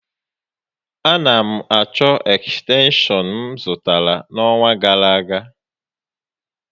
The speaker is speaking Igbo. A na m achọ ekstenshọn m zụtara n'ọnwa gàrà aga